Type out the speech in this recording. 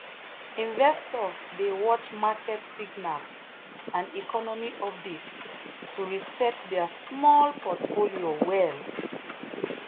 investor dey watch market signal and economy update to reset their small portfolio well.